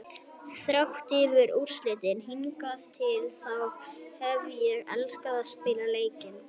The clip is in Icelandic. Þrátt fyrir úrslitin hingað til þá hef ég elskað að spila leikina.